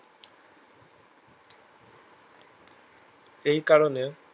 এই কারণের